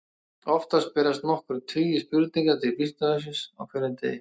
Oftast berast nokkrir tugir spurninga til Vísindavefsins á degi hverjum.